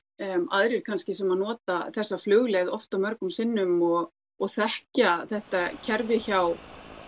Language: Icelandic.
aðrir kannski sem nota þessa flugleið oft og mörgum sinnum og þekkja þetta kerfi hjá